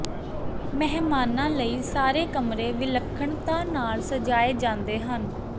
ਮਹਿਮਾਨਾਂ ਲਈ ਸਾਰੇ ਕਮਰੇ ਵਿਲੱਖਣਤਾ ਨਾਲ ਸਜਾਏ ਜਾਂਦੇ ਹਨ